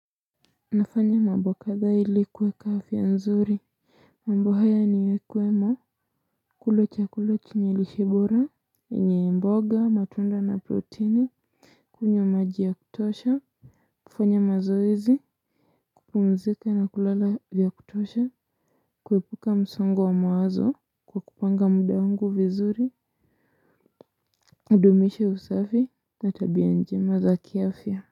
Nafanya mambo kadha ilikuweka afya nzuri mambo haya niwe kwemo kulo chakula chenye lishe bora yenye mboga matunda na proteini kunywa majia kutosha kufanya mazoezi kupumzika na kulala vya kutosha kuepuka msongo wa mawazo kwa kupanga mdaungu vizuri kudumisha usafi natabia njema za kiafya.